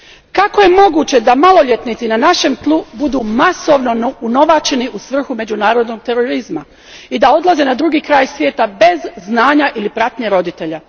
Kako je moguće da maloljetnici na našem tlu budu masovno unovačeni u svrhu međunarodnog terorizma i da odlaze na drugi kraj svijeta bez znanja ili pratnje roditelja?